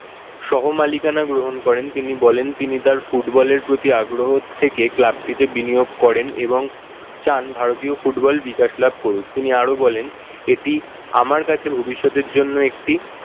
সহ-মালিকানা গ্রহণ করেন। তিনি বলেন তিনি তার football এর প্রতি আগ্রহ থেকে club টিতে বিনিয়োগ করেন এবং চান ভারতীয় football বিকাশ লাভ করুক। তিনিই আরো বলেন এটি আমার কাছে ভবিষ্যতের জন্য একটি